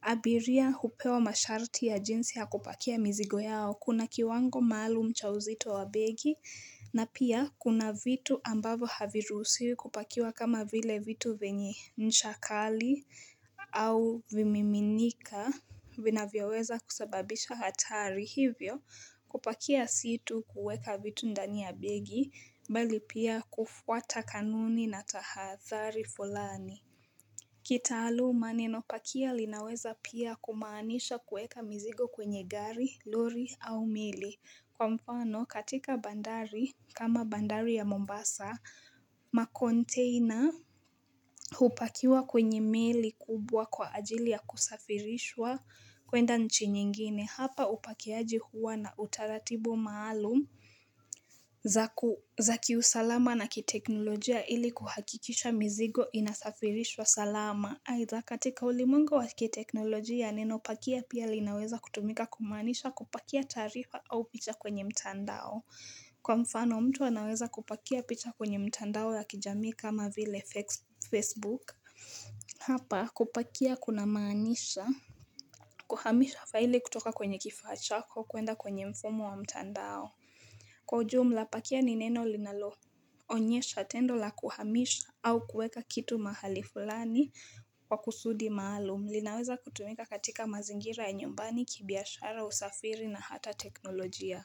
Abiria hupewa masharti ya jinsi ya kupakia mzigo yao kuna kiwango maalum cha uzito wa begi na pia kuna vitu ambavyo haviruhusiwi kupakiwa kama vile vitu vyenye ncha kali au vimiminika vinavyoweza kusababisha hatari hivyo kupakia si tu kuweka vitu ndani ya begi bali pia kufuata kanuni na tahathari fulani kitaaluma neno pakia linaweza pia kumaanisha kueka mizigo kwenye gari, lori au mili. Kwa mfano katika bandari kama bandari ya Mombasa, ma container hupakiwa kwenye mili kubwa kwa ajili ya kusafirishwa kwenda nchi nyingine. Hapa upakiaji huwa na utaratibu maalum za kiusalama na kiteknolojia ili kuhakikisha mizigo inasafirishwa salama. Aidha katika ulimwengu wa kiteknolojia neno pakia pia linaweza kutumika kumaanisha kupakia taarifa au picha kwenye mtandao. Kwa mfano mtu anaweza kupakia picha kwenye mitandao ya kijamii kama vile Facebook. Hapa kupakia kunamaanisha Kuhamisha faili kutoka kwenye kifaa chako kuenda kwenye mfumo wa mtandao Kwa ujumla pakia ni neno linaloonyesha tendo la kuhamisha au kueka kitu mahali fulani kwa kusudi maalum linaweza kutumika katika mazingira ya nyumbani kibiashara usafiri na hata teknolojia.